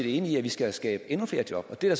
enig i at vi skal skabe endnu flere job og det er